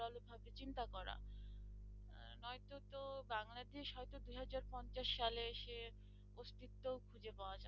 বাংলাদেশ হয়তো দুই হাজার পঞ্চাশ সালে এসে অস্তিত্ব খুঁজে পাওয়া যাবে না।